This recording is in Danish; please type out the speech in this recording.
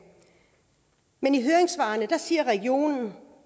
men i høringssvarene siger regionerne